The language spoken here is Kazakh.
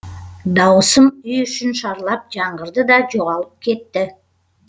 дауысым үй ішін шарлап жаңғырды да жоғалып кетті